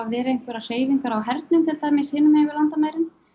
verið einhverjar hreyfingar á hernum til dæmis hinum megin við landamærin